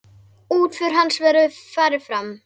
Útför hans hefur farið fram.